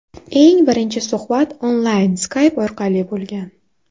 Eng birinchi suhbat onlayn Skype orqali bo‘lgan.